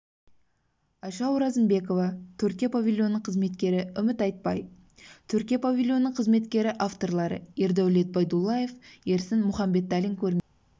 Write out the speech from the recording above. айша оразымбекова түркия павильонының қызметкері үміт айтбай түркия павильонының қызметкері авторлары ердәулет байдуллаев ерсін мұханбеталин көрмесі